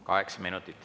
Kaheksa minutit.